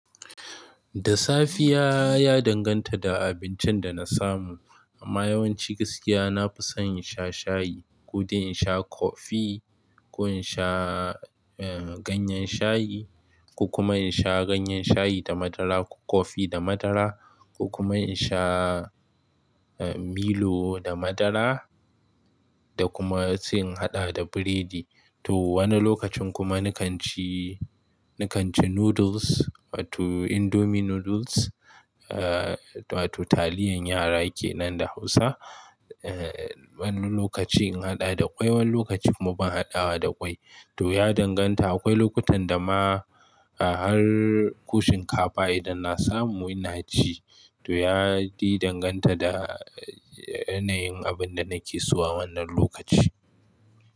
Da safiya ya danganta da abincin da na samu. Amma yawanci gaskiya na fi son in sha shayi, kodai in sha kofi, ko in sha, eh, ganyen shayi, ko kuma in sha ganyen shayi da madara, ko kofi da madara, ko kuma in sha, eh, Milo da madara da kuma sai in haɗa da biredi. To wani lokacin kuma nikan ci, ni kan ci noodles, wato indomie noodles, eh, wato taliyan yara ke nan da Hausa. Eh, wani lokaci in haɗa da ƙwai, wani lokaci kuma ban haɗawa da ƙwai. To ya danganta. Akwai lokutan da ma, a har ko shinkafa idan na samu ina ci. To ya yi danganta da yanayin abin da nake so a wannan lokaci.